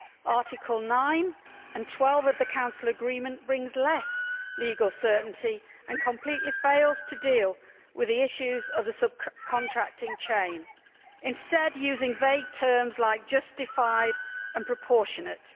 Articles 9 and 12 of the Council Agreement bring less legal certainty and completely fail to deal with the issues of the subcontracting chain, instead, using vague terms like justified' and proportionate'.